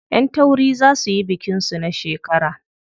Ƴan tauri za suyi bikin su na shekara.